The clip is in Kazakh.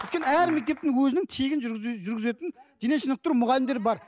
өйткені әр мектептің өзінің тегін жүргіз жүргізетін дене шынықтыру мұғалімдері бар